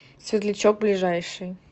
светлячок ближайший